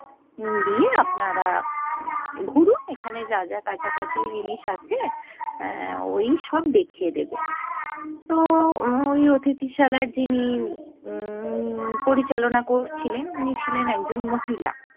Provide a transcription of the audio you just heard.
নিয়ে আপনার ঘুরুন এখানে যা যা কাছাকাছি জিনিস আছে এ্যা ও-ই সব দেখিয়ে দেবে। তো ওই অতিথিশালার যিনি উম্ম পরিচালনা করছিলেন উনি ছিলেন একজন মহিলা।